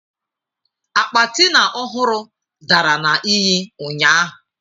Akpa Tina ọhụrụ dara na iyi ụnyahụ.